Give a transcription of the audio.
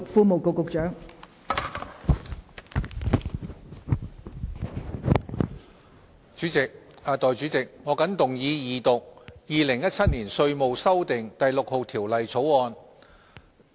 代理主席，我謹動議二讀《2017年稅務條例草案》。